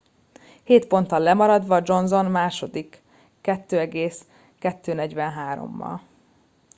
hét ponttal lemaradva johnson a második 2.243-al